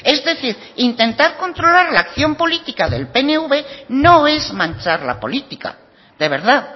es decir intentar controlar la acción política del pnv no es manchar la política de verdad